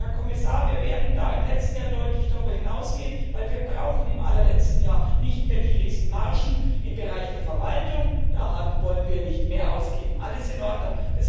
und, lieber Herr Kommissar, wir werden da im letzten Jahr deutlich darüber hinausgehen, denn wir brauchen im allerletzten Jahr nicht mehr die Riesenmargen im Bereich der Verwaltung da wollen wir nicht mehr ausgeben, alles in Ordnung.